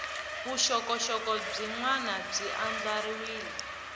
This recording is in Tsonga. vuxokoxoko byin wana byi andlariwile